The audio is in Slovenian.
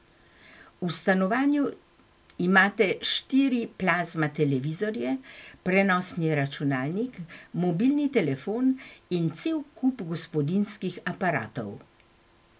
V stanovanju imate štiri plazma televizorje, prenosni računalnik, mobilni telefon in cel kup gospodinjskih aparatov.